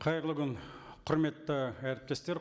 қайырлы күн құрметті әріптестер